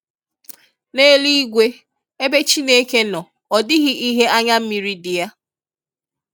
N'eluigwe ebe Chineke nọ odịghị ihe anya mmiri dị ya.